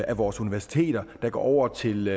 af vores universiteter der går over til